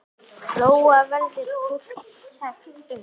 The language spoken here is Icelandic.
Lóa: Verður fólki sagt upp?